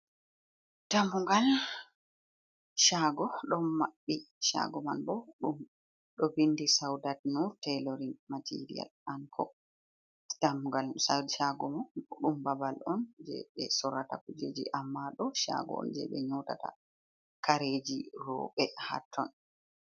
Dammugal caago ɗon mabɓi, caago man boh ɗo ɗon vindi saudat no telorin material anko, Dammugal cago mo ɗum babal on je ɓe sorata kujeji, amma do chago on jeɓe nyotata kareji roɓe ha ton.